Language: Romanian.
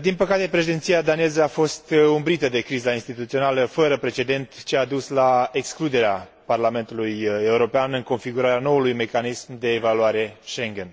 Din păcate președinția daneză a fost umbrită de criza instituțională fără precedent ce a dus la excluderea Parlamentului European din configurarea noului mecanism de evaluare Schengen.